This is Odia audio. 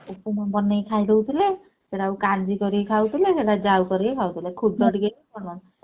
ଉପମା ବନେଇ ଖାଇଦଉଥିଲେ ସେଟାକୁ କାଞ୍ଜି କରିକି ଖାଉଥିଲେ ସେଟାକୁ ଜାଉ କରିକି ଖାଉଥିଲେ ଖୁଦ ଟିକେ